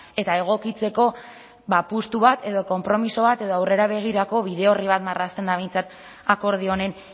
eta egokitzeko apustu bat edo konpromiso bat edo aurrera begirako bide orri bat marrazten da behintzat akordio honen